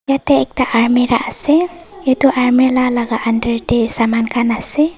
yete ekta armehra asey etu armehla laga under deh saman khan asey.